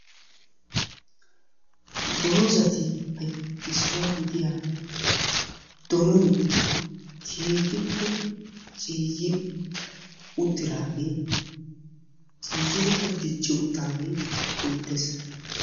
Dozatuppe issuwa gidiya doonoy keehippe ciiyi uttidaagee ciiyidikka dicci uttidagee beettees.